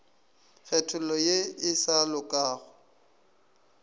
kgethollo ye e sa lokago